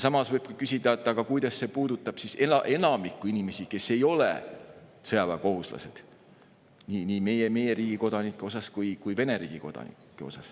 Samas võib küsida, kuidas see puudutab enamikku inimesi, kes ei ole sõjaväekohustuslased, nii meie riigi kodanikke kui ka Vene riigi kodanikke.